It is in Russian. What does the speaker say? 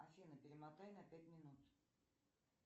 афина перемотай на пять минут